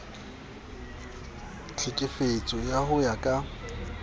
tlhekefetso ao ho ya ka